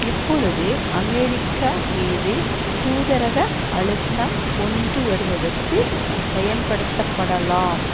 இப்பொழுது அமெரிக்கா மீது தூதரக அழுத்தம் கொண்டுவருவதற்கு பயன்படுத்தப்படலாம்